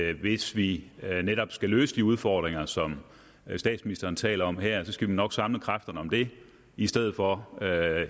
at hvis vi netop skal løse de udfordringer som statsministeren taler om her skal vi nok samle kræfterne om det i stedet for